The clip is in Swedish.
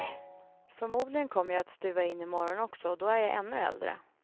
Förmodligen kommer jag att stuva in i morgon också och då är jag ännu äldre.